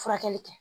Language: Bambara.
Furakɛli kɛ